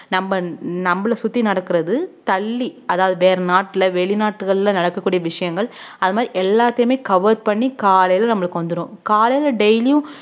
நம்ம நம்மளை சுத்தி நடக்கிறது தள்ளி அதாவது வேற நாட்டுல வெளிநாட்டுகள்ல நடக்கக்கூடிய விஷயங்கள் அது மாரி எல்லாத்தையுமே cover பண்ணி காலைல நம்மளுக்கு வந்துரும் காலைல daily யும்